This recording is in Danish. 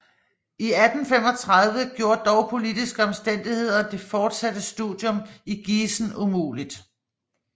I 1835 gjorde dog politiske omstændigheder det fortsatte studium i Gießen umulig